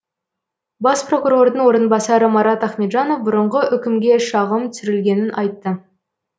бас прокурордың орынбасары марат ахметжанов бұрынғы үкімге шағым түсірілгенін айтты